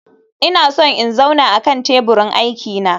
Ina so in zauna akan teburin aiki na